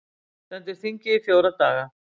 Stendur þingið í fjóra daga